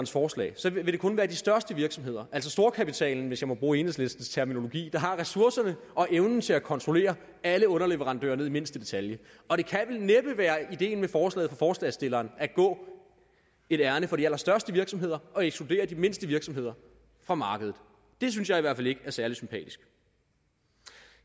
forslag vil det kun være de største virksomheder altså storkapitalen hvis jeg må bruge enhedslistens terminologi der har ressourcerne og evnen til at kontrollere alle underleverandører ned i mindste detalje og det kan vel næppe være ideen med forslaget fra forslagsstillerne at gå et ærinde for de allerstørste virksomheder og ekskludere de mindste virksomheder fra markedet det synes jeg i hvert fald ikke er særlig sympatisk